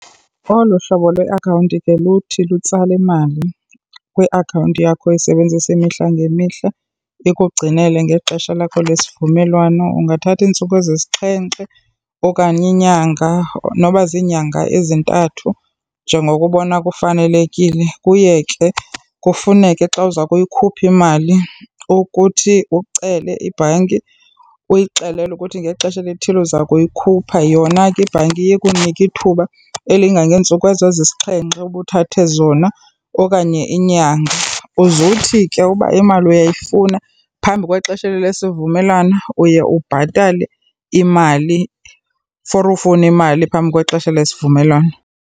Olu hlobo lweakhawunti ke luthi lutsale imali kwiakhawunti yakho oyisebenzisa imihla ngemihla, ikugcinele ngexesha lakho lesivumelwano, ungathatha iintsuku ezisixhenxe okanye inyanga noba ziinyanga ezintathu njengoko ubona kufanelekile. Kuye ke kufuneke xa uza kuyikhupha imali ukuthi ucele ibhanki uyixelele ukuthi ngexesha elithile uza ukuyikhupha. Yona ke ibhanki iye ikunike ithuba elingangeentsuku ezo ezisixhenxe uba uthathe zona okanye inyanga. Uze uthi ke uba imali uyifuna phambi kwexesha elo lesivumelwano uye ubhatale imali for ufuna imali phambi kwexesha lesivumelwano.